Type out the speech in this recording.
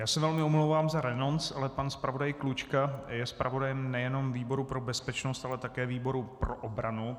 Já se velmi omlouvám za renonc, ale pan zpravodaj Klučka je zpravodajem nejenom výboru pro bezpečnost, ale také výboru pro obranu.